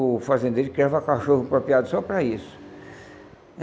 O fazendeiro criava cachorro apropriado só para isso.